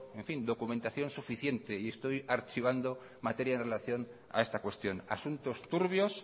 documentación suficiente y estoy archivando materia en relación a esta cuestión asuntos turbios